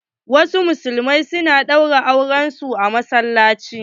Wasu musulmai na ɗaura auren su a masallaci.